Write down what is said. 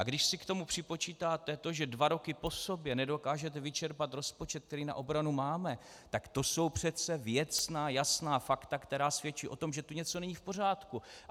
A když si k tomu připočítáte to, že dva roky po sobě nedokážete vyčerpat rozpočet, který na obranu máme, tak to jsou přece věcná, jasná fakta, která svědčí o tom, že tu něco není v pořádku.